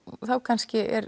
þá kannski er